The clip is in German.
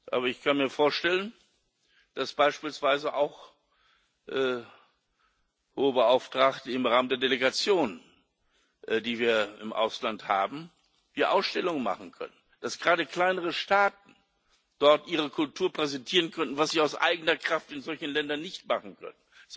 Aber ich kann mir vorstellen, dass wir beispielsweise auch, Hohe Vertreterin, im Rahmen der Delegationen, die wir im Ausland haben, Ausstellungen machen können, dass gerade kleinere Staaten dort ihre Kultur präsentieren könnten, was sie aus eigener Kraft in solchen Ländern nicht machen können.